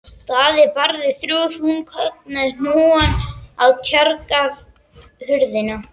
Daði barði þrjú þung högg með hnúanum á tjargaða hurðina.